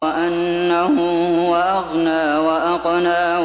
وَأَنَّهُ هُوَ أَغْنَىٰ وَأَقْنَىٰ